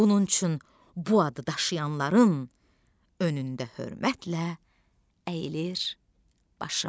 Bunun üçün bu adı daşıyanların önündə hörmətlə əyilir başım.